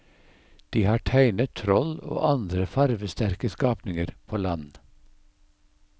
De har tegnet troll og andre farvesterke skapninger på land.